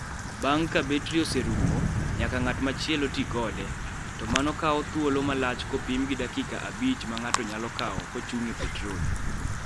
Bang' ka betri oserumo, nyaka ng'at machielo ti kode, to mano kawo thuolo malach kopim gi dakika abich ma ng'ato nyalo kawo kochung' e petrol.